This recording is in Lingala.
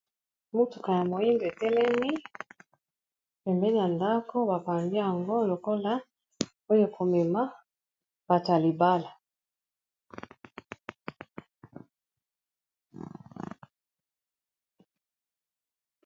mutuka ya moyindo etelemi pembeni ya ndako bapandi yango lokola oyo komema bato ya libala.